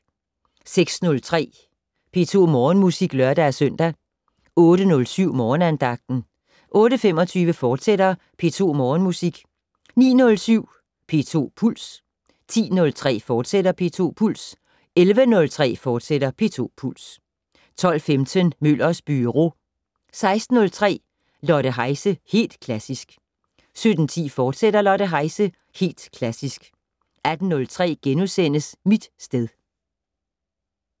06:03: P2 Morgenmusik (lør-søn) 08:07: Morgenandagten 08:25: P2 Morgenmusik, fortsat 09:07: P2 Puls 10:03: P2 Puls, fortsat 11:03: P2 Puls, fortsat 12:15: Møllers Byro 16:03: Lotte Heise - Helt Klassisk 17:10: Lotte Heise - Helt Klassisk, fortsat 18:03: Mit sted *